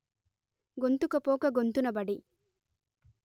గొంతుకపోక గొంతునబడి